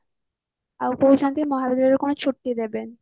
ଆଉ କହୁଛନ୍ତି ମହାବିଦ୍ୟାଳୟରେ କଣ ଛୁଟି ଦେବେନି